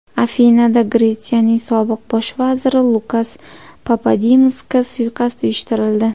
Afinada Gretsiyaning sobiq bosh vaziri Lukas Papadimosga suiqasd uyushtirildi.